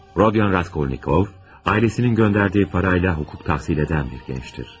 Rodion Raskolnikov, ailəsinin göndərdiyi pulla hüquq təhsili alan bir gəncdir.